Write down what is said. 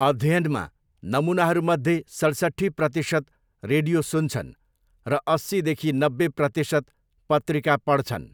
अध्ययनमा, नमुनाहरूमध्ये सैँसट्ठी प्रतिशत रेडियो सुन्छन् र अस्सीदेखि नब्बे प्रतिशत पत्रिका पढ्छन्।